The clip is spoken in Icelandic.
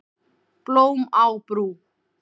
Blóm á brú